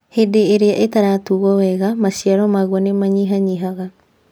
Hĩndĩ ĩrĩa ĩtarutagwo wega, maciaro maguo nĩ manyihanyihaga.